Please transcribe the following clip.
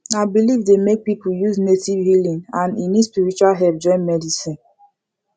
na belief dey make people use native healing and e need spiritual help join medicine